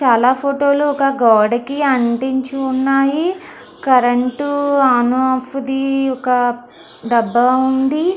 చాలా ఫోటో లు ఒక గోడ కి అంటించి ఉన్నాయి. కరెంటు ఆన్ ఆఫ్ ది ఒక డబ్బా ఉంది.